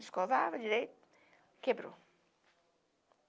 Escovava direito, quebrou.